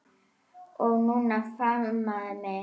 Og hún faðmaði mig.